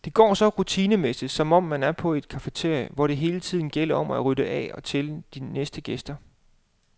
Det går så rutinemæssigt, som om man er på et cafeteria, hvor det hele tiden gælder om at rydde af til de næste gæster.